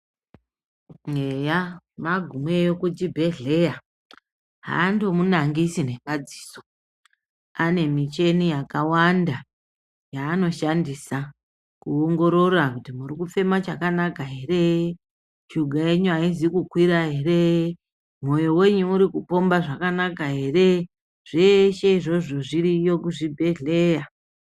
Eya magumeyo kuchibhedhleya aandomunangisi nemadziso, ane michini yakawanda yaanoshandisa kuongorora kuti muri kufema chakanaka ere, shuga yenyu aizi kukwira ere, mwoyo wenyu urikupomba zvakanaka ere. Zveshe izvozvo zviriyo kuzvibhedhleya.